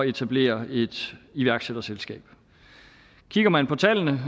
etablere et iværksætterselskab kigger man på tallene